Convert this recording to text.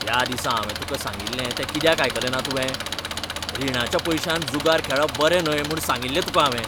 त्या दिसा हांवें तुका सांगिल्लें ते कित्याक आयकलें ना तुवें? रिणाच्या पयशांन जुगार खेळप बरें न्हय म्हूण सांगिल्लें तुकां हांवें.